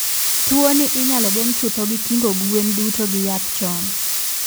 Tuo ni inyalo geng' chutho gi kingo gwen duto gi yath chon